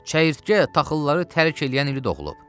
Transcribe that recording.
Çəyirtkə taxılları tərk eləyən ili doğulub.